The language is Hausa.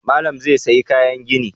Malam zai sayi kayan gini